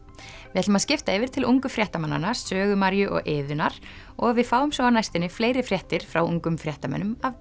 við ætlum að skipta yfir til ungu fréttamannanna Sögu Maríu og Iðunnar og við fáum svo á næstunni fleiri fréttir frá ungum fréttamönnum af